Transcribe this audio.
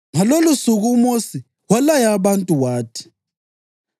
Ngalolosuku uMosi walaya abantu wathi: